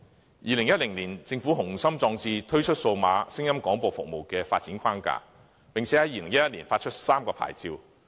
在2010年，政府滿腹雄心壯志，推出數碼聲音廣播服務的發展框架，並在2011年發出3個牌照。